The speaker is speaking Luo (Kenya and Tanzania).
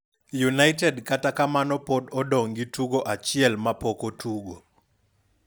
United kata kamano pod odong' gi tugo achiel ma pok otugo.